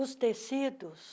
Os tecidos,